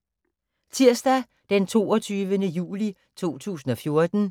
Tirsdag d. 22. juli 2014